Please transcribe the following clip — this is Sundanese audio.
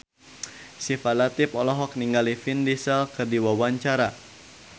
Syifa Latief olohok ningali Vin Diesel keur diwawancara